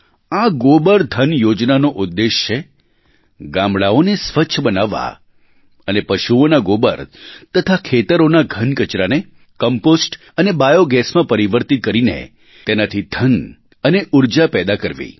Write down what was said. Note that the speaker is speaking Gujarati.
આ ગોબરધન યોજનાનો ઉદ્દેશ્ય છે ગામડાંઓને સ્વચ્છ બનાવવાં અને પશુઓના ગોબર તથા ખેતરોના ઘન કચરાને કમ્પોસ્ટ અને બાયો gasમાં પરિવર્તિત કરીને તેનાથી ધન અને ઊર્જા પેદા કરવી